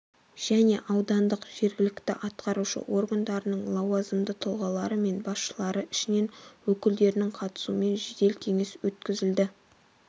және аудандық жергілікті атқарушы органдарының лауазымды тұлғалары мен басшылары ішінен өкілдерінің қатысуымен жедел кеңес өткізілді